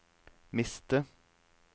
miste